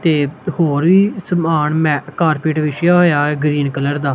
ਤੇ ਹੋਰ ਸਮਾਨ ਮੈ ਕਾਰਪੇਟ ਵਿਛਿਆ ਹੋਇਆ ਐ ਗਰੀਨ ਕਲਰ ਦਾ।